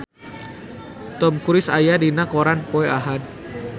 Tom Cruise aya dina koran poe Ahad